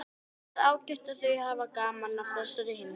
Það er ágætt ef þau hafa gaman af þessari heimsókn.